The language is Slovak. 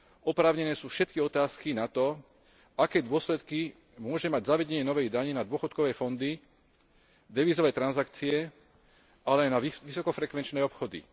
Oprávnené sú všetky otázky na to, aké dôsledky môže mať zavedenie novej dane na dôchodkové fondy, devízové transakcie, ale aj na vysokofrekvenčné obchody.